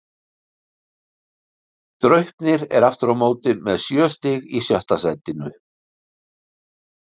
Draupnir er aftur á móti með sjö stig í sjötta sætinu.